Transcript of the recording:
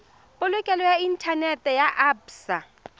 banka ya inthanete ya absa